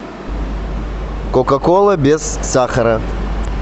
кока кола без сахара